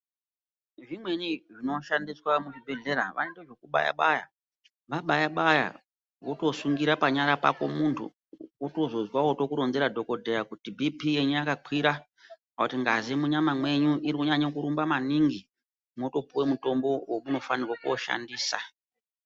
Zvimweni zvinoshandiswa muchibhedhlera vanoitezvekubaya-baya. Vabaya-baya votosungira panyara pakomuntu, wotozozwa otokuronzera dhokodheya kuti bhiipii yenyu yakakwira, kana kuti ngazi munyama mwenyu iri kunyanya kurumba maningi mwotopuwa mushonga wemunofanirwe kooshandisa.